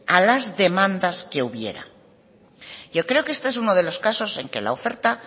a las demandas que hubiera yo creo que este es uno de los casos en que la oferta